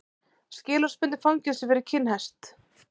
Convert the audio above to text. Skilorðsbundið fangelsi fyrir kinnhest